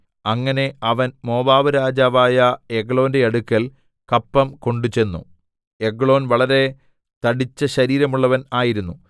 അങ്ങനെ അവൻ മോവാബ്‌രാജാവായ എഗ്ലോന്റെ അടുക്കൽ കപ്പം കൊണ്ട് ചെന്നു എഗ്ലോൻ വളരെ തടിച്ച ശരീരമുള്ളവൻ ആയിരുന്നു